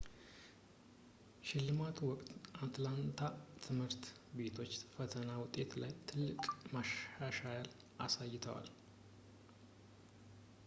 በሽልማቱ ወቅት የአትላንታ ትምህርት ቤቶች በፈተና ውጤቶች ላይ ትልቅ መሻሻል አሳይተዋል